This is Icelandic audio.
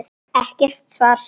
Ekkert svar.